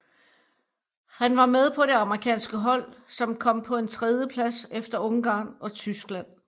Han var med på det amerikanske hold som kom på en tredjeplads efter Ungarn og Tyskland